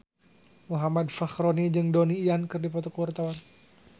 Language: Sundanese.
Muhammad Fachroni jeung Donnie Yan keur dipoto ku wartawan